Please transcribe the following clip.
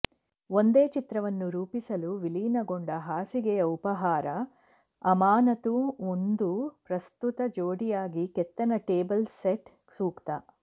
ಒಂದೇ ಚಿತ್ರವನ್ನು ರೂಪಿಸಲು ವಿಲೀನಗೊಂಡ ಹಾಸಿಗೆಯ ಉಪಹಾರ ಅಮಾನತು ಒಂದು ಪ್ರಸ್ತುತ ಜೋಡಿಯಾಗಿ ಕೆತ್ತನೆ ಟೇಬಲ್ ಸೆಟ್ ಸೂಕ್ತ